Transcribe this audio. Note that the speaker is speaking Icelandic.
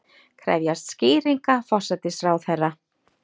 Krefjast skýringa forsætisráðherra